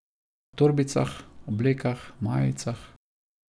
Na torbicah, oblekah, majicah.